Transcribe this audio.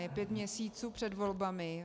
Je pět měsíců před volbami.